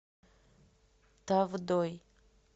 тавдой